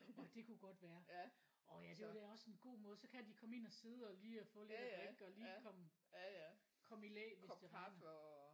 Orh det kunne godt være orh ja det var da også en god måde så kan de komme ind og sidde og lige at få lidt at drikke og lige komme komme i læ hvis det regner